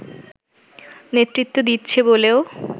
নেতৃত্ব দিচ্ছে বলেও